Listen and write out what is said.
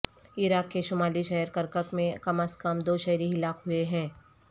عراق کے شمالی شہر کرکک میں کم از کم دو شہری ہلاک ہوئے ہیں